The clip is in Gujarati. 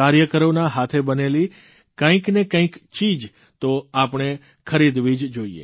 કાર્યકરોના હાથે બનેલી કંઇક ને કંઇક ચીજ તો આપણે ખરીદવી જ જોઇએ